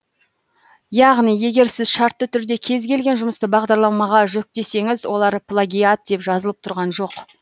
яғни егер сіз шартты түрде кез келген жұмысты бағдарламаға жүктесеңіз олар плагиат деп жазылып тұрған жоқ